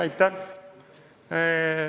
Aitäh!